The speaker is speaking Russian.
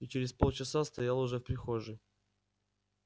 и через полчаса стоял уже в прихожей